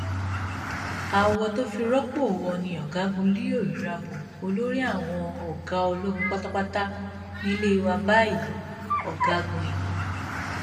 awọ tó fi rọpò wọn ni ọgágun leo irabor olórí àwọn ọgá ológun pátápátá nílé wa báyìí ọgágun i